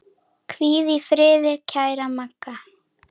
Hvíl í friði kæra Magga.